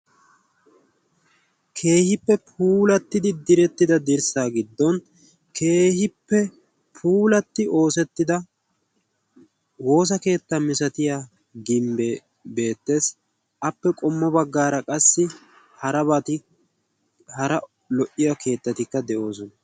Keehippe puulatidi dirsaa giddon keehippe oosetida puulaatida woosa keetta malatiya gimbee beetees, appe qommo bagaara qassi harabati hara lo'iya keetati de'oosona.